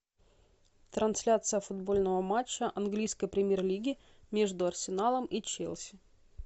трансляция футбольного матча английской премьер лиги между арсеналом и челси